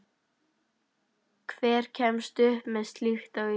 Hver kemst upp með slíkt á Íslandi?